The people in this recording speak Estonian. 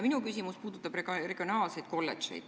Minu küsimus puudutab regionaalseid kolledžeid.